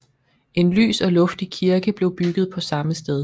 En lys og luftig kirke blev bygget på samme sted